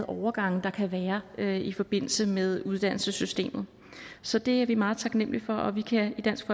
overgange der kan være være i forbindelse med uddannelsessystemet så det er vi meget taknemlige for og vi kan i dansk